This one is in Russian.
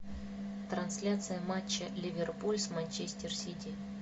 трансляция матча ливерпуль с манчестер сити